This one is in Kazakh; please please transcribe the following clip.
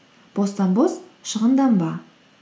бостан бос шығынданба